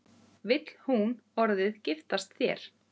Vill hún orðið giftast þér?